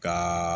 Ka